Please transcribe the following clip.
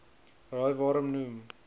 raai waarom noem